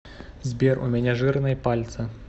сбер у меня жирные пальцы